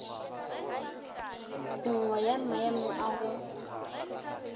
nngwe ya maemo a go